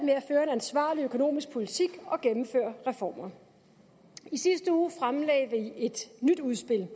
ansvarlig økonomisk politik og gennemføre reformer i sidste uge fremsatte vi et nyt udspil